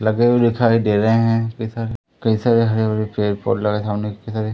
लगे हुए दिखाई दे रहे हैं कई सारे कई सारे हरे-भरे पेड़-पौधे लगा है सामने कई सारे।